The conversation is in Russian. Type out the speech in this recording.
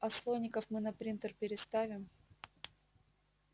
а слоников мы на принтер переставим